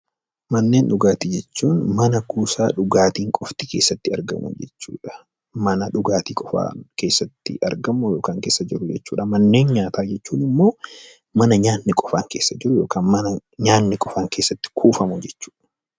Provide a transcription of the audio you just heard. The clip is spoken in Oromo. Manneen dhugaatii jechuun mana kuusaan dhugaatii qofti keessatti argamu jechuudha. Mana dhugaatiin qofa keessatti argamu jechuudha. Manneen nyaataa jechuun immoo mana nyaanni qofaan keessatti kuufamuu jechuudha.